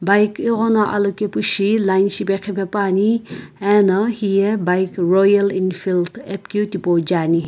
bike ighono alokepu shi line shipeqhipepuani ena hiye bike royal Enfield apikeu tipau jeani.